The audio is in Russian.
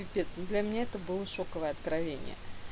капец ну для меня это было шоковое откровение